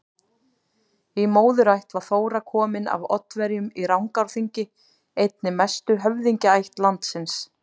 Í móðurætt var Þóra komin af Oddaverjum í Rangárþingi, einni mestu höfðingjaætt landsins.